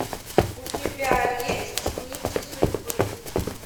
у тебя есть нити судьбы